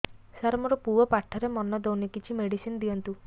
ସାର ମୋର ପୁଅ ପାଠରେ ମନ ଦଉନି କିଛି ମେଡିସିନ ଦିଅନ୍ତୁ